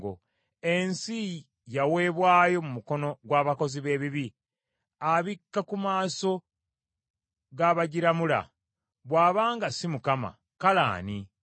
Ensi yaweebwayo mu mukono gw’abakozi b’ebibi. Abikka ku maaso g’abagiramula. Bw’aba nga si Mukama , kale ani?